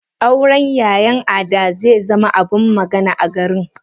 Auren yayan Ada zezama abin magana a garin.